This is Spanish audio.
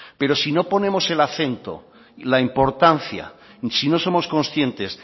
pero si no ponemos el acento y la importancia si no somos conscientes